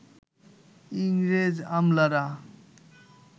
ইংরেজ আমলারা